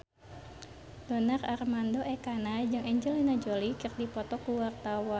Donar Armando Ekana jeung Angelina Jolie keur dipoto ku wartawan